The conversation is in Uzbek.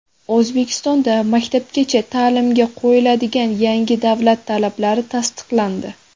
O‘zbekistonda maktabgacha ta’limga qo‘yiladigan yangi davlat talablari tasdiqlandi.